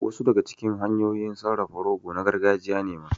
Wasu daga cikin hanyoyin sarrafa rogo na gargajiya ne ma